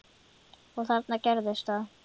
Og þarna gerðist það.